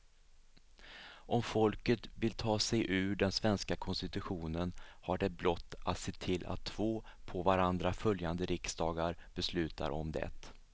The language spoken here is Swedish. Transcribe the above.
Om folket vill ta sig ur den svenska konstitutionen har det blott att se till att två på varandra följande riksdagar beslutar om det.